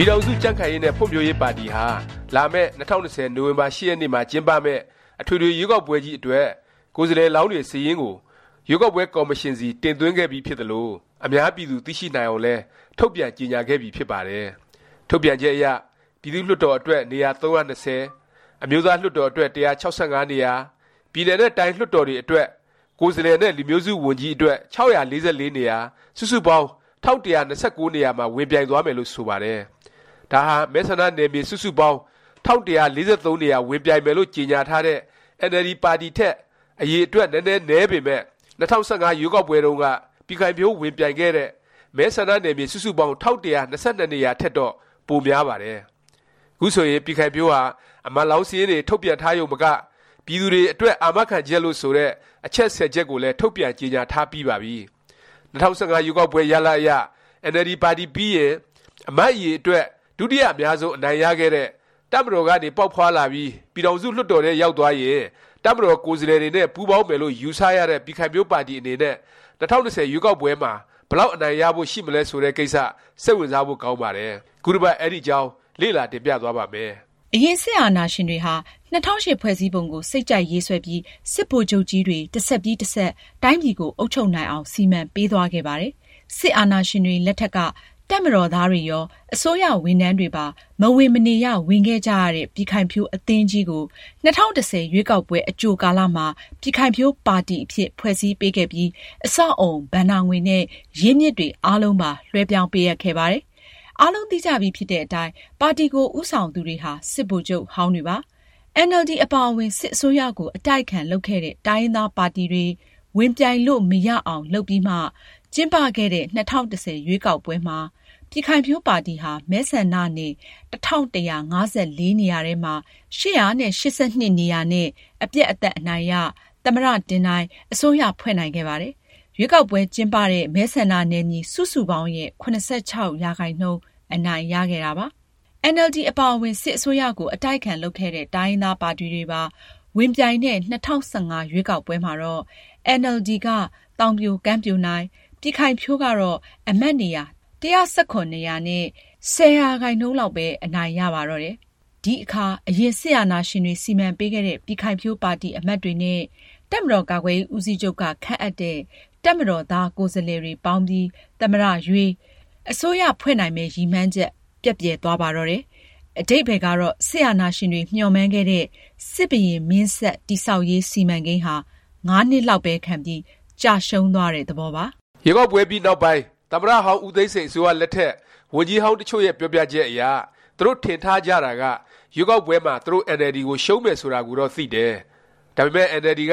ပြည်ထောင်စု ကြံ့ခိုင်ရေးနဲ့ ဖွံ့ဖြိုးရေးပါတီဟာ လာမယ့် ၂၀၂၀ နိုဝင်ဘာ ၈ ရက်နေ့မှာ ကျင်းပမယ့် အထွေထွေ ရွေးကောက်ပွဲကြီး အတွက် ကိုယ်စားလှယ်လောင်း စာရင်းတွေ ရွေးကောက်ပွဲ ကော်မရှင်ဆီ တင်သွင်းခဲ့ပြီး ဖြစ်သလို၊ အများပြည်သူ သိရှိနိုင်အောင်လည်း ထုတ်ပြန်ကြေငြာခဲ့ပြီဖြစ်ပါတယ်။ ထုတ်ပြန်ချက်အရ ပြည်သူ့လွှတ်တော် အတွက် နေရာ ၃၂၀၊ အမျိုးသားလွှတ်တော် အတွက် ၁၆၅ နေရာ၊ ပြည်နယ်နဲ့တိုင်း လွှတ်တော်တွေ အတွက် ကိုယ်စားလှယ်နဲ့ လူမျိုးစု ဝန်ကြီးအတွက် ၆၄၄ နေရာ စုစုပေါင်း ၁၁၂၉ နေရာမှာ ဝင်ပြိုင်သွားမယ်လို့ ဆိုပါတယ်။ ဒါဟာ မဲဆန္ဒနယ်မြေ စုစုပေါင်း ၁၁၄၃ နေရာ ဝင်ပြိုင်မယ်လို့ ကြေငြာထားတဲ့ အင်န်အယ်လ်ဒီ ပါတီထက် အရည်အတွက် နည်းနည်း နည်းပေမယ့် ၂၀၁၅ ရွေးကောက်ပွဲတုန်းက ပြည်ခိုင်ဖြိုး ဝင်ပြိုင်ခဲ့တဲ့ မဲဆန္ဒနယ်မြေ စုစုပေါင်း ၁၁၂၂ နေရာထက်တော့ ပိုများပါတယ်။ ခုဆိုရင် ပြည်ခိုင်ဖြိုးဟာ အမတ်လောင်း စာရင်းတွေ ထုတ်ပြန်ထားရုံမက ပြည်သူတွေ အတွက် အာမခံ ချက်လို့ ဆိုတဲ့ အချက်(၁၀) ချက်ကိုလည်း ထုတ်ပြန်ကြေညာ ထားပြီးပါပြီ။ ၂၀၁၅ ရွေးကောက်ပွဲ ရလာဒ်အရ အင်န်အယ်လ်ဒီ ပါတီပြီးရင် အမတ်အရေအတွက် ဒုတိယ အများဆုံး အနိုင်ရခဲ့တဲ့၊ တပ်မတော်ကနေ ပေါက်ဖွားလာပြီး ပြည်ထောင်စု လွှတ်တော်ထဲ ရောက်သွားရင် တပ်မတော်သားကိုယ်စားလှယ်တွေနဲ့ ပူးပေါင်းမယ်လို့ ယူဆရတဲ့ ပြည်ခိုင်ဖြိုးပါတီ အနေနဲ့ ၂၀၂၀ ရွေးကောက်ပွဲမှာ ဘယ်လောက် အနိုင်ရဖို့ ရှိမလဲ ဆိုတဲ့ ကိစ္စ စိတ်ဝင်စားဖို့ ကောင်းပါတယ်။ ခုတစ်ပတ် အဲဒီအကြောင်း လေ့လာ တင်ပြသွားပါ့မယ်။ အရင် စစ်အာဏာရှင်တွေဟာ ၂၀၀၈ ဖွဲ့စည်းပုံကို စိတ်ကြိုက်ရေးဆွဲပြီး စစ်ဗိုလ်ချုပ်ကြီးတွေ တစ်ဆက်ပြီး တစ်ဆက် တိုင်းပြည်ကို အုပ်ချုပ်နိုင်အောင် စီမံပေးသွားခဲ့ပါတယ်။ စစ်အာဏာရှင်တွေ လက်ထက်က တပ်မတော်သားတွေရော၊ အစိုးရဝန်ထမ်းတွေပါ မဝင်မနေရ ဝင်ခဲ့ကြရတဲ့ ပြည်ခိုင်ဖြိုး အသင်းကြီးကို ၂၀၁၀ ရွေးကောက်ပွဲ အကြိုကာလမှာ ပြည်ခိုင်ဖြိုးပါတီ အဖြစ် ဖွဲ့စည်းပေးခဲ့ပြီး အဆောက်အဦ၊ ဘဏ္ဍာငွေနဲ့ ရင်းမြစ်တွေ အားလုံးပါ လွဲှပြောင်းပေးအပ်ခဲ့ပါတယ်။ အားလုံးသိကြီဖြစ်တဲ့အတိုင်း ပါတီကို ဦးဆောင်သူတွေဟာ စစ်ဗိုလ်ချုပ်ဟောင်းတွေပါ။ အင်န်အယ်လ်ဒီ အပါအဝင် စစ်အစိုးရကို အတိုက်အခံ လုပ်ခဲ့တဲ့ တိုင်းရင်းသားပါတီတွေ ဝင်ပြိုင်လို့ မရအောင် လုပ်ပြီးမှ ကျင်းပခဲ့တဲ့ ၂၀၁၀ ရွေးကောက်ပွဲမှာ ပြည်ခိုင်ဖြိုးပါတီဟာ မဲဆန္ဒနယ် ၁၁၅၄ နေရာထဲမှာ ၈၈၂ နေရာနဲ့ အပြတ်အသတ် အနိုင်ရ၊ သမ္မတ တင်နိုင်၊ အစိုးရ ဖွဲ့နိုင်ခဲ့ပါတယ်။ ရွေးကောက်ပွဲ ကျင်းပတဲ့ မဲဆန္ဒနယ်မြေ စုစုပေါင်းရဲ့ ၇၆% အနိုင်ရခဲ့တာပါ။ အင်န်အယ်လ်ဒီ အပါအဝင် စစ်အစိုးရကို အတိုက်အခံ လုပ်ခဲ့တဲ့ တိုင်းရင်းသားပါတီတွေပါ ဝင်ပြိုင်တဲ့ ၂၀၁၅ ရွေးကောက်ပွဲမှာတော့ အင်န်အယ်လ်ဒီက သောင်ပြိုကမ်းပြိုနိုင်၊ ပြည်ခိုင်ဖြိုးကတော့ အမတ်နေရာ ၁၁၇ နေရာနဲ့ ၁၀ ရာခိုင်နှုန်းလောက်ပဲ အနိုင်ရပါတော့တယ်။ ဒီအခါ အရင် စစ်အာဏာရှင်တွေ စီမံပေးခဲ့တဲ့ ပြည်ခိုင်ဖြိုးပါတီ အမတ်တွေနဲ့ တပ်မတော်ကာကွယ်ရေး ဦးစီးချုပ်က ခန့်အပ်တဲ့ တပ်မတော်သား ကိုယ်စားလှယ်တွေပေါင်းပြီး သမ္မတရွေး၊ အစိုးရ ဖွဲ့နိုင်မယ့် ရည်မှန်းချက် ပျက်ပြယ်သွားပါတော့တယ်။ အဓိပ္ပါယ်ကတော့ စစ်အာဏာရှင်တွေ မျှော်မှန်းခဲ့တဲ့ စစ်ဘုရင်မင်းဆက် တည်ဆောက်ရေး စီမံကိန်းဟာ ၅ နှစ်လောက်ပဲ ခံပြီး ကျရှုံးသွားတဲ့ သဘောပါ။ ရွေးကောက်ပွဲပြီးနောက်ပိုင်း သမ္မတဟောင်း ဦးသိန်းစိန် အစိုးရလက်ထက် ဝန်ကြီးဟောင်း တစ်ချို့ရဲ့ ပြောပြချက်အရ သူတို့ ထင်ထားကြတာက ရွေးကောက်ပွဲမှာ သူတို့ အင်န်အယ်လ်ဒီ ကို ရှုံးမယ် ဆိုတာကိုတော့ သိတယ်၊ ဒါပေမယ့် အင်န်အယ်လ်ဒီ က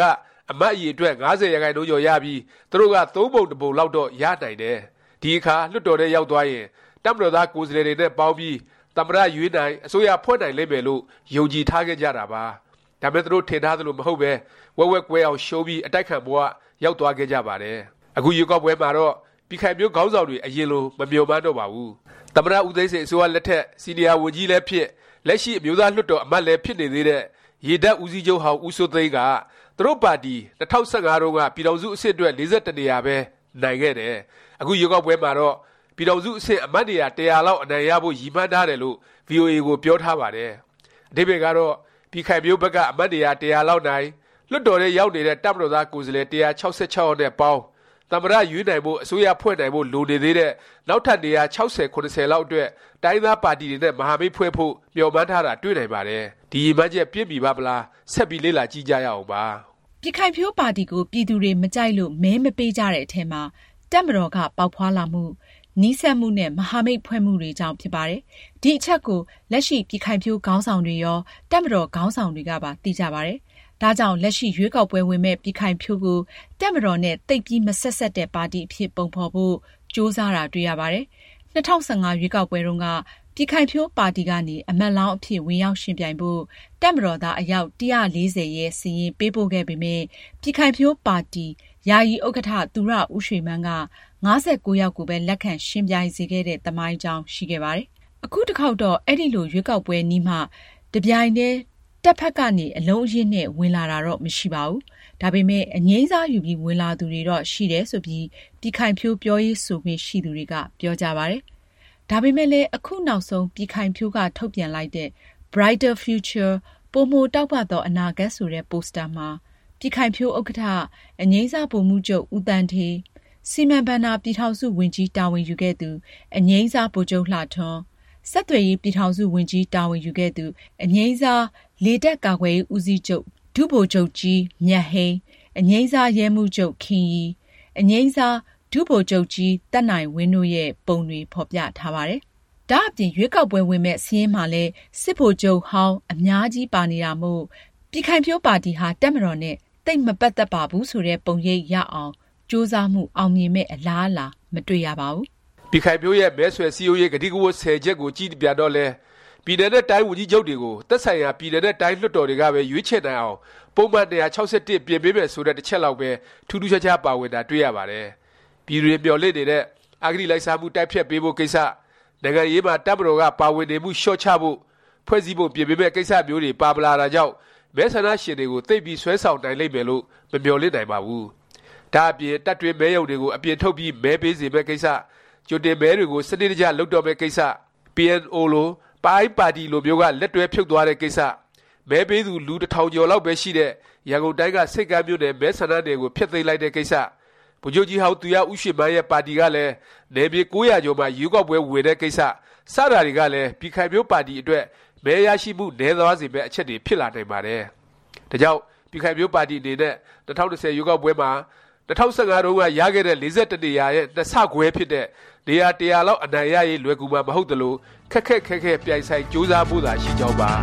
အမတ်အရေအတွက် ၅၀% ကျော်ရပြီး သူတို့က သုံးပုံတစ်ပုံလောက်တော့ ရနိုင်တယ်။ ဒီအခါ လွှတ်တော်ထဲ ရောက်သွားရင် တပ်မတော်သား ကိုယ်စားလှယ်တွေနဲ့ ပေါင်းပြီး သမ္မတ ရွေးနိုင်၊ အစိုးရဖွဲ့နိုင်လိမ့်မယ် လို့ ယုံကြည်ထားခဲ့ကြတာပါ။ ဒါပေမယ့် သူတို့ ထင်ထားသလို မဟုတ်ပဲ ဝက်ဝက်ကွဲအောင်ရှုံးပြီး အတိုက်အခံ ဘ၀ ရောက်သွားခဲ့ကြပါတယ်။ အခုရွေးကောက်ပွဲမှာတော့ ပြည်ခိုင်ဖြိုး ခေါင်းဆောင်တွေ အရင်လို မမျှော်မှန်းတော့ပါဘူး။ သမ္မတ ဦးသိန်းစိန် အစိုးရလက်ထက် စီနီယာ ဝန်ကြီးလည်းဖြစ်၊ လက်ရှိ အမျိုးသားလွှတ်တော် အမတ်လည်း ဖြစ်နေသေးတဲ့ ရေတပ် ဦးစီးချုပ်ဟောင်း ဦးစိုးသိန်းက သူတို့ပါတီ ၂၀၁၅တုန်းက ပြည်ထောင်စု အဆင့်အတွက် ၄၁ နေရာပဲ နိုင်ခဲ့တယ်၊ အခုရွေးကောက်ပွဲမှာတော့ ပြည်ထောင်စု အဆင့် အမတ်နေရာ ၁၀၀ လောက် အနိုင်ရဖို့ ရည်မှန်းထားတယ်လို့ VOA ကို ပြောထားပါတယ်။ အဓိပ္ပါယ်ကတော့ ပြည်ခိုင်ဖြိုးဘက်က အမတ်နေရာ ၁၀၀ လောက်နိုင်၊ လွှတ်တော်ထဲ ရောက်နေတဲ့ တပ်မတော်သား ကိုယ်စားလှယ် ၁၆၆ ယောက်နဲ့ပေါင်း၊ သမ္မတ ရွေးနိုင်ဖို့၊ အစိုးရ ဖွဲ့နိုင်ဖို့ လိုနေသေးတဲ့ နောက်ထပ် နေရာ ၆၀-၇၀လောက်အတွက် တိုင်းရင်းပါတီ တွေနဲ့ မဟာမိတ်ဖွဲ့ဖို့ မျှော်မှန်းထားတာ တွေ့ရပါတယ်။ ဒီရည်မှန်းချက် ပြည့်မီပါ့မလား ဆက်ပြီး လေ့လာကြည့်ကြရအောင်ပါ။ ပြည်ခိုင်ဖြိုးပါတီကို ပြည်သူတွေ မကြိုက်လို့ မဲမပေးကြတဲ့အထဲမှာ တပ်မတော်က ပေါက်ဖွားလာမှု၊ နီးစပ်မှုနဲ့ မဟာမိတ်ဖွဲ့မှုတွေကြောင့် ဖြစ်ပါတယ်။ ဒီအချက်ကို လက်ရှိ ပြည်ခိုင်ဖြိုးခေါင်းဆောင်တွေရော၊ တပ်မတော် ခေါင်းဆောင်တွေကပါ သိကြပါတယ်။ ဒါကြောင့် လက်ရှိ ရွေးကောက်ပွဲဝင်မယ့် ပြည်ခိုင်ဖြိုးကို တပ်မတော်နဲ့ သိပ်ပြီး မဆက်စပ်တဲ့ ပါတီအဖြစ် ပုံဖော်ဖို့ ကြိုးစားတာ တွေ့ရပါတယ်။ ၂၀၁၅ ရွေးကောက်ပွဲတုန်းက ပြည်ခိုင်ဖြိုးပါတီကနေ အမတ်လောင်းအဖြစ် ဝင်ရောက်ယှဉ်ပြိုင်ဖို့ တပ်မတော်သား အယောက် ၁၄၀ ရဲ့ စာရင်း ပေးပို့ခဲ့ပေမယ့် ပြည်ခိုင်ဖြိုးပါတီ ယာယီဥက္ကဌ သူရဦးရွှေမန်းက ၅၉ ယောက်ကိုပဲ လက်ခံ ယှဉ်ပြိုင်စေခဲ့တဲ့ သမိုင်းကြောင်းရှိခဲ့ပါတယ်။ အခု တစ်ခေါက်တော့ အဲလို ရွေးကောက်ပွဲနီးမှ တစ်ပြိုင်နက်တည်း တပ်ဘက်ကနေ အလုံးအရင်းနဲ့ ဝင်လာတော့ မရှိဘူး၊ ဒါပေမယ့် အငြိမ်းစားယူပြီး ဝင်လာသူတွေတော့ ရှိတယ် ဆိုပြီး ပြည်ခိုင်ဖြိုး ပြောရေးဆိုခွင့် ရှိသူတွေက ပြောကြပါတယ်။ ဒါပေမယ့်လည်း အခုနောက်ဆုံး ပြည်ခိုင်ဖြိုးက ထုတ်ပြန်လိုက်တဲ့ Brighter Future “ ပိုမို တောက်ပသော အနာဂတ်” ဆိုတဲ့ ပိုစတာမှာ ပြည်ခိုင်ဖြိုးဥက္ကဌ အငြိမ်းစား ဗိုလ်မှူးချုပ် ဦးသန်းဌေး၊ စီမံဘဏ္ဍာ ပြည်ထောင်စု ဝန်ကြီး တာဝန်ယူခဲ့သူ အငြိမ်းစား ဗိုလ်ချုပ်လှထွန်း၊ ဆက်သွယ်ရေး ပြည်ထောင်စု ဝန်ကြီး တာဝန်ယူခဲ့သူ အငြိမ်းစား လေတပ် ကာကွယ်ရေး ဦးစီးချုပ် ဒုဗိုလ်ချုပ်ကြီး မြတ်ဟိန်း၊ အငြိမ်းစား ရဲမှူးချုပ် ခင်ရီ၊ အငြိမ်းစား ဒုဗိုလ်ချုပ်ကြီး သက်နိုင်ဝင်း တိုရဲ့ ပုံတွေ ဖော်ပြထားပါတယ်။ ဒါ့အပြင် ရွေးကောက်ပွဲ ဝင်မယ့် စာရင်းမှာလည်း စစ်ဗိုလ်ချုပ်ဟောင်း အများကြီးပါနေတာမို့ ပြည်ခိုင်ဖြိုးပါတီဟာ တပ်မတော်နဲ့ သိပ်မပတ်သက်ပါဘူး ဆိုတဲ့ ပုံရိပ် ရအောင်ကြိုးစားမှု အောင်မြင်မယ့် အလားအလာ မတွေ့ရပါဘူး။ ပြည်ခိုင်ဖြိုးရဲ့ မဲဆွယ် စည်းရုံးရေး ကတိကဝတ် (၁၀) ချက်ကို ကြည့်ပြန်တော့လည်း ပြည်နယ်နဲ့ တိုင်းဝန်ကြီးချုပ်တွေကို သက်ဆိုင်ရာ ပြည်နယ်နဲ့ တိုင်း လွှတ်တော်တွေကပဲ ရွေးချယ်နိုင်အောင် ပုဒ်မ ၂၆၁ ပြင်ပေးမယ်ဆိုတဲ့ တစ်ချက်လောက်ပဲ ထူးထူးခြားခြား ပါဝင်တာ တွေ့ရပါတယ်။ ပြည်သူတွေ မျှော်လင့်နေတဲ့ အဂတိလိုက်စားမှု တိုက်ဖျက်ပေးဖို့ ကိစ္စ၊ နိုင်ငံရေးမှာ တပ်မတော်က ပါဝင်နေမှု လျော့ချဖို့ ဖွဲ့စည်းပုံ ပြင်ပေးမယ့် ကိစ္စမျိုးတွေ ပါမလာတာကြောင့် မဲဆန္ဒရှင်တွေကို သိပ်ပြီး ဆွဲဆောင်နိုင်လိမ့်မယ်လို့ မမျှော်လင့်နိုင်ပါဘူး။ ဒါ့အပြင် တပ်တွင်းမဲရုံတွေကို အပြင်ထုတ်ပြီး မဲပေးစေမယ့် ကိစ္စ၊ ကြိုတင်မဲတွေကို စနစ်တကျ လုပ်တော့မယ့် ကိစ္စ၊ PNO လို ပအိုင်း ပါတီလိုမျိုးက လက်တွဲဖြုတ်သွားတဲ့ ကိစ္စ၊ မဲပေးသူ လူ ၁၀၀၀ ကျော်လောက်ပဲ ရှိတဲ့ ရန်ကုန်တိုင်းက ဆိပ်ကမ်းမြို့နယ် မဲဆန္ဒနယ်ကို ဖျက်သိမ်းလိုက်တဲ့ ကိစ္စ၊ ဗိုလ်ချုပ်ကြီးဟောင်း သူရဦးရွှေမန်းရဲ့ ပါတီကလည်း နယ်မြေ ၉၀၀ ကျော်မှာ ရွေးကောက်ပွဲ ဝင်တဲ့ ကိစ္စ၊ စတာတွေကလည်း ပြည်ခိုင်ဖြိုးပါတီ အတွက် မဲရရှိမှု နည်းသွားစေမယ့် အချက်တွေ ဖြစ်လာနိုင်ပါတယ်။ ဒါကြောင့် ပြည်ခိုင်ဖြိုးပါတီ အနေနဲ့ ၂၀၂၀ ရွေးကောက်ပွဲမှာ ၂၀၁၅ တုန်းက ရခဲ့တဲ့ ၄၁ နေရာရဲ့ ၂ဆခွဲ ဖြစ်တဲ့ နေရာ ၁၀၀ လောက် အနိုင်ရရေး လွယ်ကူမှာ မဟုတ်သလို၊ ခက်ခက်ခဲခဲ ပြိုင်ဆိုင် ကြိုးစားဖို့သာ ရှိကြောင်းပါ